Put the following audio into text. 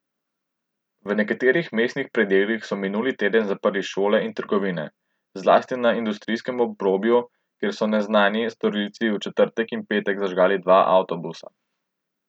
V nekaterih mestnih predelih so minuli teden zaprli šole in trgovine, zlasti na industrijskem obrobju, kjer so neznani storilci v četrtek in petek zažgali dva avtobusa.